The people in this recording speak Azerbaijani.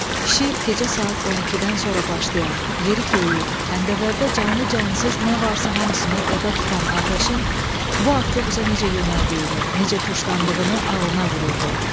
Kişi gecə saat 12-dən sonra başlayan, yeri-göyü, həndəvərdə canlı-cansız nə varsa hamısını oda tutan atəşin bu avtobusa necə yönəldiyini, necə tuşlandığını ağlına vururdu.